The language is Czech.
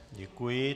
Děkuji.